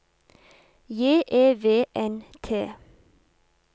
J E V N T